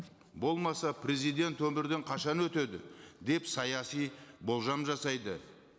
болмаса президент өмірден қашан өтеді деп саяси болжам жасайды